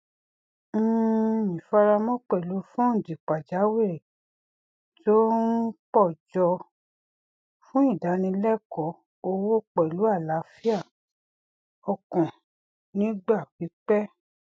um ìfaramọ pẹlú fúndì pajawiri tó um pọ jọ fún ìdánilẹkọọ owó pẹlú àlàáfíà ọkàn nígbà pipẹ